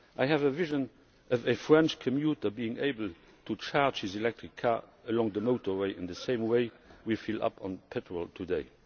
I have a vision of a French commuter being able to charge his electric car along the motorway in the same way we fill up with petrol today.